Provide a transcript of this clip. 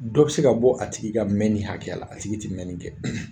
Dɔ be se ka bɔ a tigi ka mɛnin hakɛya la, a tigi te mɛnin kɛ.